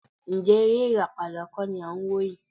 Ǹjẹ́ eré ìràpadà kọ́ ni à ń wò yìí?